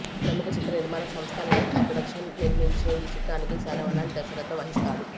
ప్రముఖ చిత్ర నిర్మాణ సంస్థ లైకా ప్రొడక్షన్ నిర్మించే ఈ చిత్రానికి శరవణన్ దర్శకత్వం వహిస్తాడు